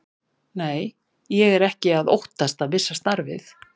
Nei, ég er ekki að óttast að missa starfið.